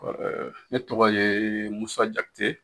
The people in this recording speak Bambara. Ɛɛ ne tɔgɔ yee musa jakite